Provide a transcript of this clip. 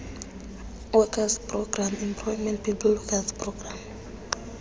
works programme epwp